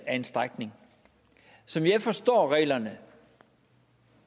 en strækning som jeg forstår reglerne